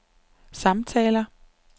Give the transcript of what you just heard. samtaler